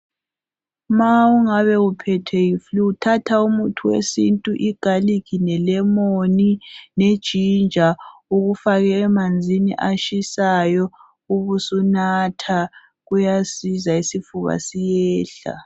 Ma ungabe uphethe yiFlu thatha umuthi wesintu igaliki lelemoni lejinja ukufake emanzini atshisayo ubusunatha kuyasiza isifuba siyehla.